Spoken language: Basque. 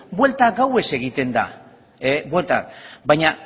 buelta gauez egiten da baina